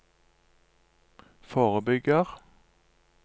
forebygger